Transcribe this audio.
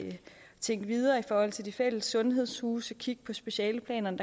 tænke videre i forhold til de fælles sundhedshuse at kigge på specialeplanerne